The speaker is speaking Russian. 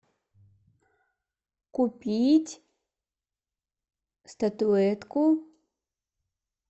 купить статуэтку